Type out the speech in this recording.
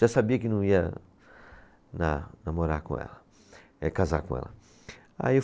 Já sabia que não ia dar, namorar com ela, eh casar com ela. Aí eu